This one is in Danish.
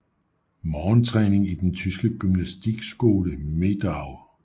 Morgentræning i den tyske gymnastikskole Medau